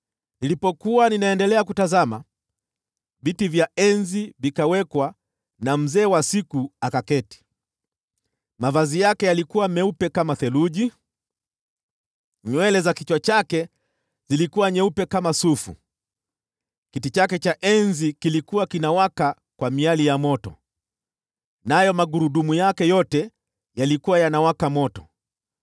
“Nilipoendelea kutazama, “viti vya enzi vikawekwa, naye Mzee wa Siku akaketi. Mavazi yake yalikuwa meupe kama theluji; nywele za kichwa chake zilikuwa nyeupe kama sufu. Kiti chake cha enzi kilikuwa kinawaka kwa miali ya moto, nayo magurudumu yake yote yalikuwa yanawaka moto.